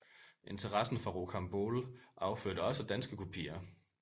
Interessen for Rocambole affødte også danske kopier